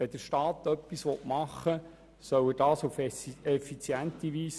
Wenn der Staat etwas machen will, soll er das auf effiziente Weise tun.